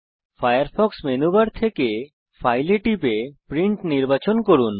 Firefox menu bar থেকে file এ টিপুন এবং প্রিন্ট নির্বাচন করুন